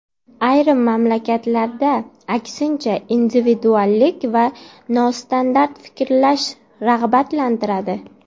Ayrim mamlakatlarda, aksincha, individuallik va nostandart fikrlash rag‘batlantiradi.